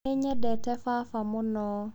Nĩ nyendete baba mũno.